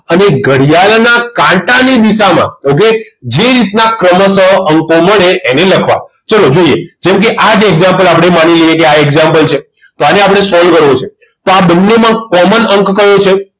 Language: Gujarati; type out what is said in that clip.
અને ઘડિયાળના કાંટાની દિશામાં okay જે રીત ના ક્રમશ અંકો મળે એને લખવા ચાલો જોઈએ જેમ કે આ જ example આપણે માની લઈએ આજ example છે તો આને આપણે solve કરવો છે તો આ બંનેમાં common અંક કયો છે